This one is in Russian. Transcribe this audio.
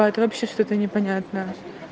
а это вообще что-то непонятное